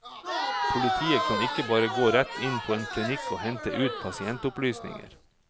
Politiet kan ikke bare gå rett inn på en klinikk og hente ut pasientopplysninger.